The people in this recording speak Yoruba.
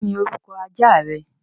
Kí niorúkọ ajá rẹ?